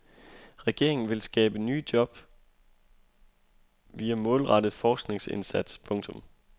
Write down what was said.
Regeringen vil skabe nye job via målrettet forskningsindsats. punktum